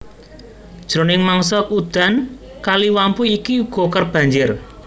Jroning mangsa udan Kali Wampu iki uga kerep banjir